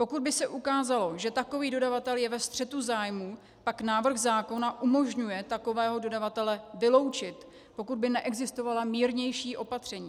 Pokud by se ukázalo, že takový dodavatel je ve střetu zájmu, pak návrh zákona umožňuje takového dodavatele vyloučit, pokud by neexistovala mírnější opatření.